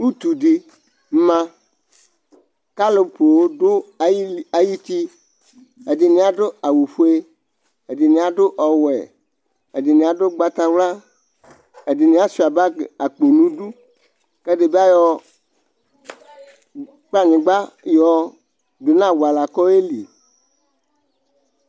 Utuɖi ma, k'alʋ poo ɖʋ ayitiƐɖini adʋ awufoe, ɛɖini aɖʋ ɔwuɛ, ɛɖini aɖʋ ugbatawla, ɛɖini asɣua bagi akpo nʋ iɖu, k'ɛɖibi ayɔ kplanyigba yɔɔ ɖʋ nʋ awuala k'ɔyeli